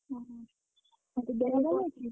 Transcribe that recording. ଅହ ତୋ ଦେହ ଭଲ ଅଛି?